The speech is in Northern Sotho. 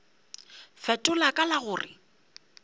fetola ka la go re